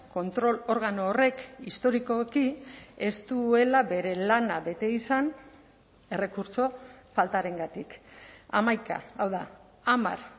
kontrol organo horrek historikoki ez duela bere lana bete izan errekurtso faltarengatik hamaika hau da hamar